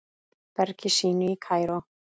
bergi sínu í Kaíró.